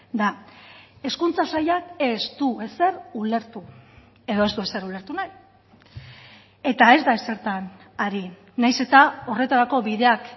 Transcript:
da hezkuntza sailak ez du ezer ulertu edo ez du ezer ulertu nahi eta ez da ezertan ari nahiz eta horretarako bideak